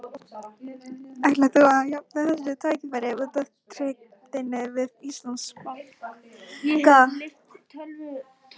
Ætlar þú að hafna þessu tækifæri út af tryggð þinni við Íslandsbanka?